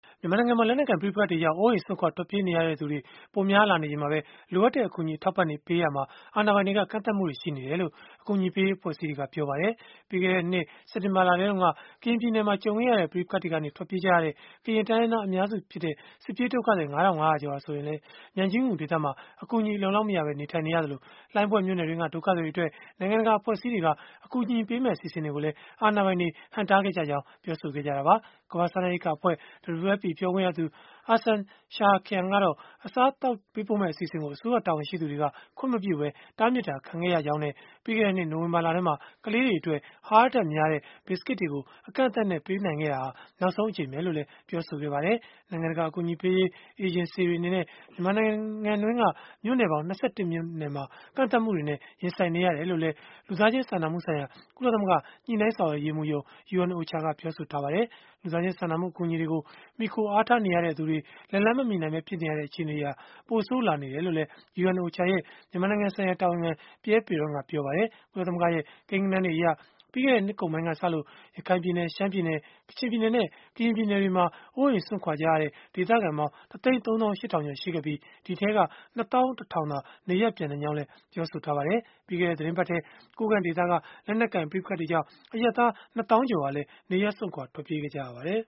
မြန်မာနိုင်ငံမှာ လက်နက်ကိုင် ပဋိပက္ခတွေကြောင့် အိုးအိမ်စွန့်ခွာ ထွက်ပြေးနေရသူတွေ ပိုများလာနေချိန်မှာပဲ၊ လိုအပ်တဲ့ အကူအညီ အထောက်အပံ့တွေ ပေးပို့နိုင်ရေး အာဏာပိုင်တွေက ကန့်သတ်မှုတွေ ရှိနေတယ်လို့ အကူအညီပေးရေး အဖွဲ့အစည်းတွေက ပြောပါတယ်။ ပြီးခဲ့တဲ့နှစ် စက်တင်ဘာလထဲတုန်းက ကရင်ပြည်နယ်တွင်းမှာ ကြုံခဲ့ရတဲ့ ပဋိပက္ခတွေအတွင်း ထွက်ပြေးကြရတဲ့ ကရင်တိုင်းရင်းသား အများစုဖြစ်တဲ့ စစ်ပြေးဒုက္ခသည် ၅၅၀၀ ကျော်ဟာ ဆိုရင်လည်း မြိုင်ကြီးငူဒေသမှာ အကူအညီ အလုံအလောက်မရပဲ နေထိုင်နေကြရသလို၊ လှိုင်းဘွဲ့မြို့နယ်တွင်းက ဒုက္ခသည်တွေအတွက် နိုင်ငံတကာ အဖွဲ့အစည်းတွေက အကူအညီပေးမယ့် အစီအစဉ်တွေကိုလည်း အာဏာပိုင်တွေ ဟန့်တားခဲ့ကြတာပါ။ ကမ္ဘာ့စားနပ်ရိက္ခာအဖွဲ့ WFP ပြောခွင့်ရသူ Arsen Sahakyan က အစားအသောက်ပေး ပို့မယ့် အစီအစဉ်ကို အစိုးရတာဝန်ရှိသူတွေက ခွင့်မပြုပဲ တားမြစ် ခံခဲ့ရကြောင်း ပြောဆိုခဲ့သလို၊ ပြီးခဲ့တဲ့နှစ် နိုဝင်ဘာလထဲမှာ ကလေးတွေအတွက် အဟာရဓာတ်များတဲ့ ဘစ်စကစ်တွေကို အကန့်အသတ် နဲ့ ပေးနိုင်ခဲ့တာဟာ နောက်ဆုံးပဲ လို့လည်း ပြောပါတယ်။ နိုင်ငံတကာ အကူအညီပေးရေး အေဂျင်စီတွေ အနေ နဲ့ မြန်မာနိုင်ငံတွင်းက မြို့နယ်ပေါင်း ၂၁ မြို့နယ်မှာ ကန့်သတ်မှုတွေနဲ့ ရင်ဆိုင်နေရကြောင်းလည်း လူသားချင်း စာနာမှုဆိုင်ရာ ကုလသမဂ္ဂ ညှိနှိုင်းဆောင်ရွက်ရေးမှူးရုံး (UNOCHA) က ပြောပါတယ်။ လူသားချင်းစာနာမှု အကူအညီတွေကို မှီခိုအားထားနေရတဲ့ သူတွေထံ လက်လှမ်းမမှီနိုင်ပဲ ဖြစ်နေရတဲ့ အခြေအနေတွေဟာ ပိုဆိုးလာနေတယ်လို့လည်း UNOCHA ရဲ့ မြန်မာနိုင်ငံဆိုင်ရာ တာဝန်ခံ Pierre Péron ကပြောပါတယ်။ ကုလသမဂ္ဂရဲ့ ကိန်းဂဏန်းတွေအရ ပြီးခဲ့တဲ့နှစ်ကုန်ပိုင်းကစလို့ ရခိုင်ပြည်နယ်၊ ရှမ်းပြည်နယ်၊ ကချင်ပြည်နယ်နဲ့ ကရင်ပြည်နယ်တွေမှာ အိုးအိမ်စွန့်ခွာကြရတဲ့ ဒေသခံပေါင်း ၁၃၈,၀၀၀ ကျော် ရှိခဲ့ပြီး၊ ဒီအထဲက ၂၁,၀၀၀ သာ နေရပ်ပြန်နိုင်ကြောင်း လည်း ပြောဆိုထားပါတယ်။ ပြီးခဲ့တဲ့ သီတင်းပတ်ထဲ ကိုးကန့်ဒေသက လက်နက်ကိုင် ပဋိပက္ခတွေကြောင့် အရပ်သား ၂ သောင်းကျော်ဟာလည်း နေရပ်စွန့်ခွာ ထွက်ပြေးခဲ့ကြရပါတယ်